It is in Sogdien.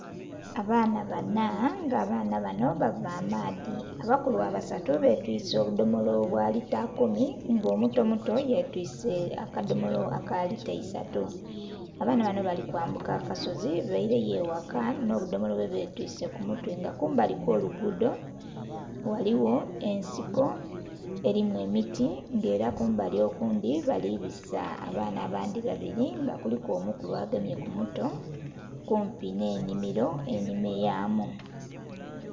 Abaana banna nga abaana banho bava amaadhi, abakulu abasatu betwise obudhomolo obwa lita kumi nga omuto muto ye twise aka dhomolo ake lita eisatu. Abaana banho bali kwambuka akasozi beireyo eghaka nho budhomolo bwe betwise ku mutwe nga mbali kwo lugudho ghaligho ensiko erimu emiti nga era kumbali okundhi bali bisaa abaana abandhi babiri nga kuliku omukulu agemye ku muto kumpi nhe nhimiro enhime yaamu.